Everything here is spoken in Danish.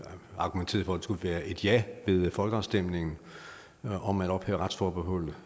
argumenterede for at det skulle være et ja ved folkeafstemningen om at ophæve retsforbeholdet